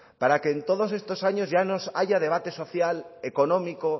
para que en todos estos años ya no haya debate social económico